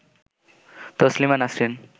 Taslima Nasrin